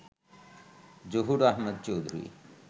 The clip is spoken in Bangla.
জহুর আহমেদ চৌধুরী